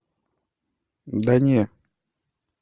да не